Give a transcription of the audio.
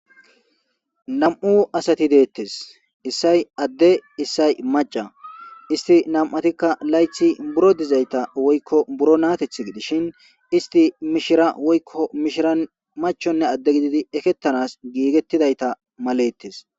Nam'u asati detes isay ade isay mac'a isti nam'atika nayti woyko biro dizayta woyko biro nateti gidishin isti mishira woyko mishiran machonne ade gididi eketanas gigitidayta maletes.